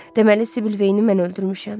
Deməli Sibildeyini mən öldürmüşəm.